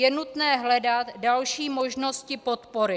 Je nutné hledat další možnosti podpory.